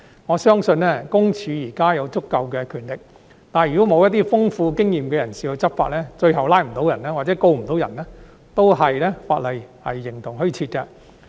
我相信，私隱公署現時有足夠權力，但如果欠缺一些有豐富經驗的人士執法，最後無法成功拘捕疑犯，或者告不入，法例也是形同虛設。